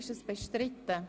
Ist dies bestritten?